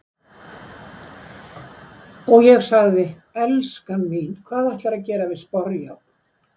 Og ég sagði:- En elskan mín, hvað ætlarðu að gera við sporjárn?